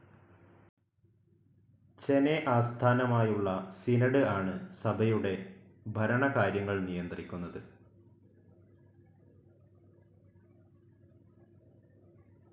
ചെന്നെ ആസ്ഥാനമായുള്ള സിനോഡ്‌ ആണ് സഭയുടെ ഭരണകാര്യങ്ങൾ നിയന്ത്രിക്കുന്നത്.